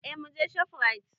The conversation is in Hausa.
Eh muje shofrait